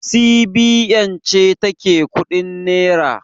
CBN ce ta ke kuɗin nera